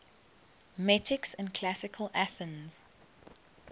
metics in classical athens